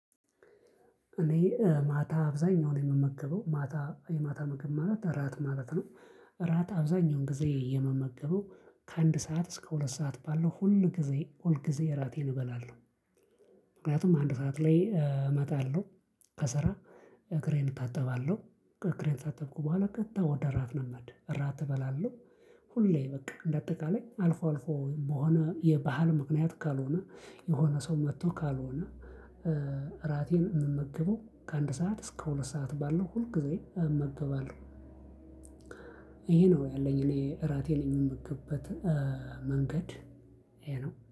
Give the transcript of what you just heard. እኔ ማታ አብዛኛውን የምመከበው ማታ የማታ ምግብ ማለት እራት ማለት ነው እራት አብዛኛውን ጊዜ የመመገበው ከአንድ ሰዓት እስከ ሁለት ሰዓት ባለው ሁል ጊዜ ሁል ጊዜ እራቴን እበላለሁ። ምክንያቱም አንድ ሰዓት ላይ እመጣለሁ ከሰራ እግሬን እታጠባለሁ እግሬን ከታጠብኩ በኋላ ቀጥታ ወደ እራት ነው የምሄደው እራት እበላለሁ ሁሌ በቃ እንደ አጠቃላይ አልፎ አልፎ በሆነ የባህል ምክንያት ካልሆነ የሆነ ሰው መጥቶ ካልሆነ እራቴን የምመግበው ከአንድ ሰዓት እስከ ሁለት ሰዓት ባለው ሁል ጊዜ እመግበዋለሁ ይሄ ነው ያለኝ እኔ እራቴን የለኝም የምክበት መንገድ ይሄ ነው።